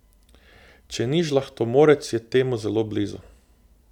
Če ni žlahtomorec, je temu zelo blizu.